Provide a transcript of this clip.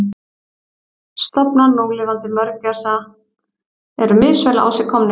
Stofnar núlifandi mörgæsa eru misvel á sig komnir.